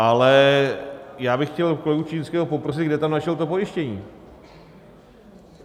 Ale já bych chtěl kolegu Čižinského poprosit, kde tam našel to pojištění.